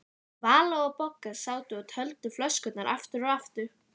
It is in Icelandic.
Vala og Bogga sátu og töldu flöskurnar aftur og aftur.